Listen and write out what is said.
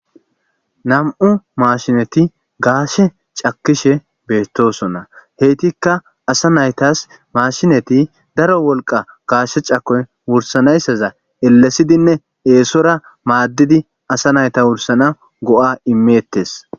nam7u maashineti gaashe cakishe beettosonna heytikka asa naytas mashineti daro wolqa gaashe cakoy wursanayssaza ellesidinne eesora maaddidi asa nayta wursana go7a imeettes